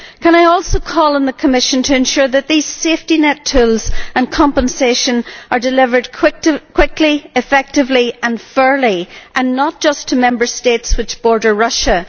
I would also call on the Commission to ensure that these safety net tools and compensation are delivered quickly, effectively and fairly, and not just to Member States which border Russia.